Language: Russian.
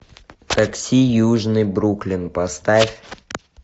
такси южный бруклин поставь